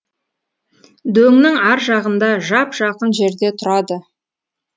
дөңнің ар жағында жап жақын жерде тұрады